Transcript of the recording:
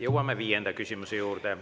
Jõuame viienda küsimuse juurde.